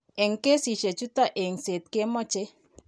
En kesiisyek chuton, engset kemoche.